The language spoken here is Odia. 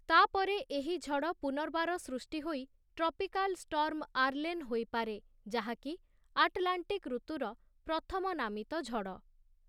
ତା'ପରେ ଏହି ଝଡ଼ ପୁନର୍ବାର ସୃଷ୍ଟି ହୋଇ ଟ୍ରପିକାଲ୍ ଷ୍ଟର୍ମ ଆର୍ଲେନ୍ ହୋଇପାରେ, ଯାହାକି ଆଟଲାଣ୍ଟିକ୍ ଋତୁର ପ୍ରଥମ ନାମିତ ଝଡ଼ ।